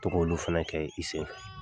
To k'olu fɛnɛ kɛ i sen